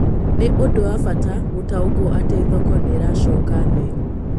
Nĩũndũ wa Bata gũtaũkwo atĩ thoko nĩiracoka thĩ